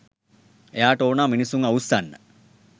එයාට ඕනා මිනිස්සුන්ව අවුස්සන්න